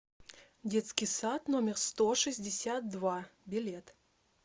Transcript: детский сад номер сто шестьдесят два билет